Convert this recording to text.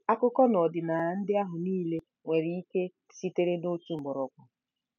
Akụkọ na ọdịnala ndị ahụ niile nwere ike sitere na otu mgbọrọgwụ?